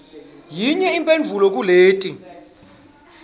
yinye imphendvulo kuleti